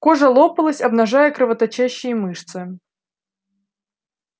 кожа лопалась обнажая кровоточащие мышцы